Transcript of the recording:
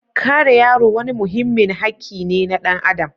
Kare yaro wani muhimmin hakki ne na ɗan adam.